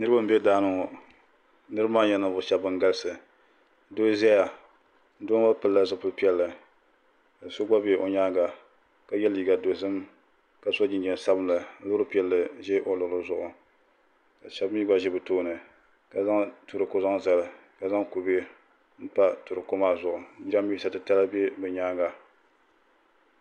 Niraba n ʒɛ daani ŋo niraba maa nyɛla ninvuɣu shab ban galisi doo ʒɛya doo ŋo pilla zipili piɛlli ka so gba bɛ o nyaanga ka yɛ liiga dozim ka so jinjɛm sabinli loori piɛlli ʒɛ o luɣuli zuɣu ka shab mii gba ʒi bi tooni ka zaŋ turooko zaŋ zali ka zaŋ kubɛ pa turooko maa zuɣu jiranbiisa titali bɛ bi nyaanga